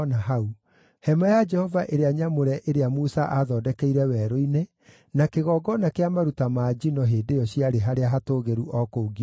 Hema ya Jehova ĩrĩa nyamũre ĩrĩa Musa aathondekeire werũ-inĩ, na kĩgongona kĩa maruta ma njino, hĩndĩ ĩyo ciarĩ harĩa hatũũgĩru o kũu Gibeoni.